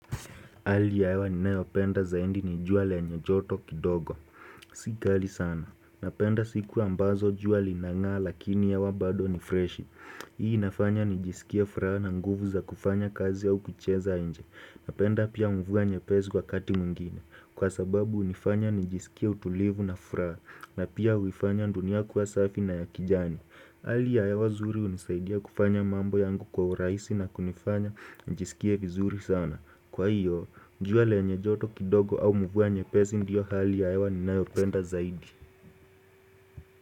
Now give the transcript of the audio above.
Hali ya hewa ni ninayopenda zaidi, ni jua lenye joto kidogo, si kali sana. Napenda siku ambazo jua linan'gaa lakini hewa bado ni freshi Hii inafanya nijisikie furaha na nguvu za kufanya kazi au kucheza nje. Napenda pia mvua nyepesi wakati mwingine, kwa sababu hunifanya nijisikie utulivu na furaha, na pia huifanya dunia kuwa safi na ya kijani hali ya hewa nzuri hunisaidia kufanya mambo yangu kwa urahisi, na kunifanya nijisikie vizuri sana. Kwa hiyo, jua lenye joto kidogo au mvua nyepesi ndio hali ya hewa ninayopenda zaidi.